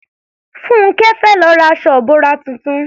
Fúnńkẹ́ fẹ́ lọ ra aṣọ ìbora tuntun